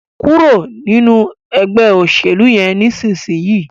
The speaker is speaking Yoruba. kúrò nínú Ẹgbẹ́ òṣèlú yén nísìsiyìí!